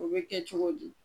O be kɛ cogo di?